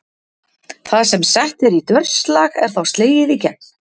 Það sem sett er í dörslag er þá slegið í gegn.